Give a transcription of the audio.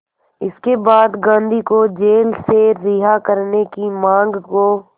इसके बाद गांधी को जेल से रिहा करने की मांग को